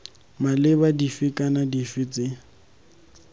maleba dife kana dife tse